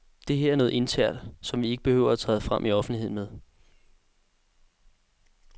Det her er noget internt, som vi ikke behøver at træde frem i offentligheden med.